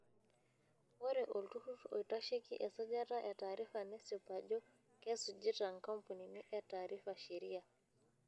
Ore olturrur oitasheki esajata e taarifa nesip ajo kesujita nkampunini e taarifa sheriaa.